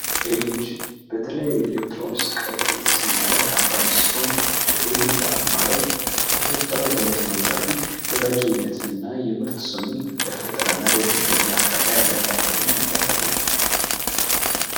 ኤልልጅ በተለያዩ ኤሌክትሮን ስቃዎች ላይ የተሰማ ካምፓኒ ሲሆን በኤልጅ አርማ ላይ የተፈጠረው ጠመዝማዛ ፊት ወዳጅዊነትን እና የምርት ስሙን ለፈጠራ እና ለደንበኛ አርካታ ያለውን ቆርጠኝነት ያሳያል።